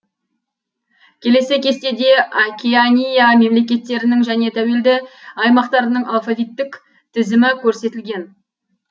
келесі кестеде океания мемлекеттерінің және тәуелді аймақтарының алфавиттік тізімі көрсетілген